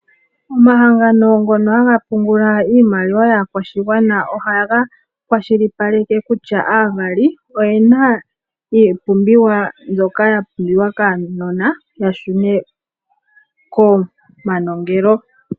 Omahangano ngono aga pungula iimaliwa yaakwashigwana ohaga kwashilipaleke kutya aavali oyena iipumbiwa mbyoka ya pumbiwa kaanona yashune komanongelo.